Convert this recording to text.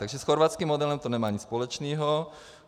Takže s chorvatským modelem to nemá nic společného.